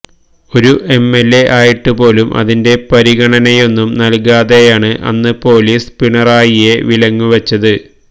ഒരു എംഎല്എ ആയിട്ട് പോലും അതിന്റെ പരിഗണനയൊന്നും നല്കാതെയാണ് അന്ന് പോലീസ് പിണറായിയെ വിലങ്ങുവെച്ചത്